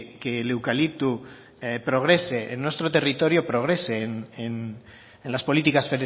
que el eucalipto progrese en nuestro territorio progrese en las políticas